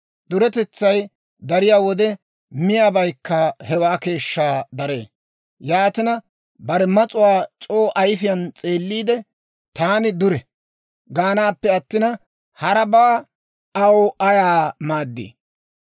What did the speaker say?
Duretetsay dariyaa wode, miyaabaykka hewaa keeshshaa daree. Yaatina, bare mas'uwaa c'oo ayifiyaan s'eelliide, «Taani dure» gaanaappe attina, harabaa aw ayaa maaddii!